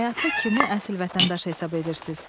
Həyatda kimi əsl vətəndaş hesab edirsiz?